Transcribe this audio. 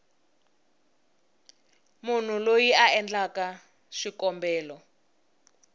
munhu loyi a endlaku xikombelo